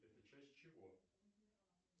это часть чего